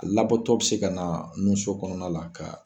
Labɔtɔ bi se ka na nu so kɔnɔna la ka